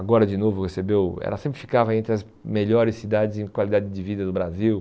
Agora de novo recebeu... Ela sempre ficava entre as melhores cidades em qualidade de vida do Brasil.